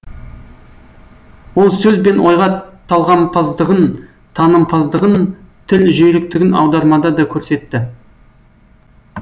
ол сөз бен ойға талғампаздығын танымпаздығын тіл жүйріктігін аудармада да көрсетті